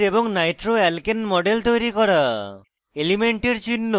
carboxylic acid এবং nitroalkane models তৈরি করা